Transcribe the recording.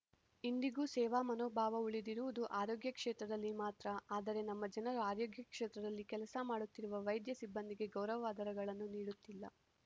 ಇಂದಿಗೂ ಸೇವಾ ಮನೋಭಾವ ಉಳಿದಿರುವುದು ಆರೋಗ್ಯ ಕ್ಷೇತ್ರದಲ್ಲಿ ಮಾತ್ರ ಆದರೆ ನಮ್ಮ ಜನರ ಆರೋಗ್ಯ ಕ್ಷೇತ್ರದಲ್ಲಿ ಕೆಲಸ ಮಾಡುತ್ತಿರುವ ವೈದ್ಯ ಸಿಬ್ಬಂದಿಗೆ ಗೌರವಾದರಗಳನ್ನು ನೀಡುತ್ತಿಲ್ಲ